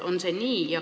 On see nii?